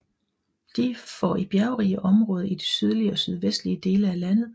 De for i bjergrige områder i de sydlige og sydvestlige dele af landet